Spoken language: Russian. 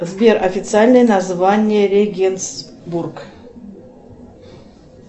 сбер официальное название регенсбург